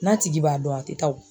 N'a tigi b'a dɔn a tɛ taa o.